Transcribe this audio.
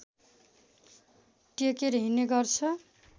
टेकेर हिँड्ने गर्छ